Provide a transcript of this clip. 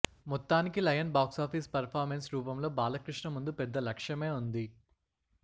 మొత్తానికి Lion box office performance రూపంలో బాలకృష్ణ ముందు పెద్ద లక్ష్యమే ఉంది